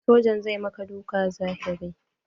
Sojan zai yi maka dukan zahiri.